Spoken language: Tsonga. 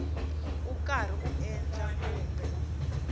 u karhi ku endla kumbe